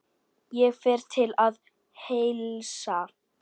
Ég fer til að heilsa.